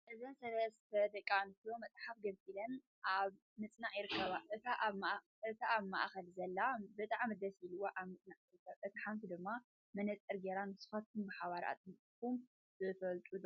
እዘን ሰላስ ደቂ ኣንስትዮ መፅሓፍ ገሊፀን ኣብ ም ፅናዕ ይርከባ ።እታ ኣብ ሓእከል ዘላ ብጣዕሚ ደስ ኢልዋ ኣብ ምፅናዕ ትርከብ ።እታ ሓንቲ ድማ መነፀር ገይራ ንስካትኩም ብሓባር ኣፅኒዕኩም ትፈልጡ ዶ ?